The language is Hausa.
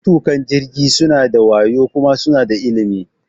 Matuƙan jirgi suna da wayo kuma suna da ilimi.